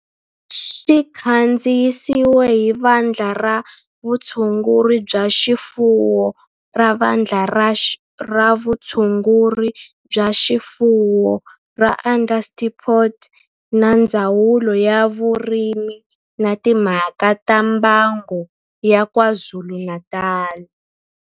Xi kandziyisiwe hi Vandla ra Vutshunguri bya swifuwo ra Vandla ra Vutshunguri bya swifuwo ra Onderstepoort na Ndzawulo ya Vurimi na Timhaka ta Mbango ya KwaZulu-Natal.